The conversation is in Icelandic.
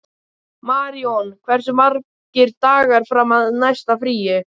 Maríon, hversu margir dagar fram að næsta fríi?